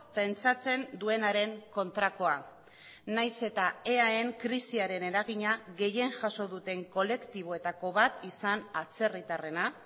pentsatzen duenaren kontrakoa nahiz eta eaen krisiaren eragina gehien jaso duten kolektiboetako bat izan atzerritarrena